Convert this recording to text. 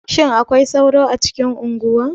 Shin akwai sauro a cikin unguwa?